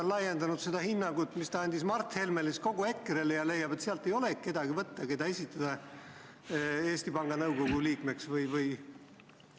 Kas ta on laiendanud seda hinnangut, mis ta andis Mart Helmele, kogu EKRE-le ja leiab, et sealt ei olegi võtta kedagi, kelle võiks esitada Eesti Panga Nõukogu liikmeks?